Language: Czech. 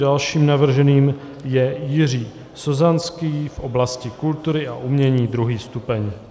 Dalším navrženým je Jiří Sozanský v oblasti kultury a umění, 2. stupeň.